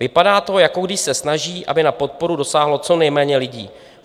Vypadá to, jako když se snaží, aby na podporu dosáhlo co nejméně lidí.